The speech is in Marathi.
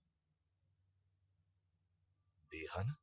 देहान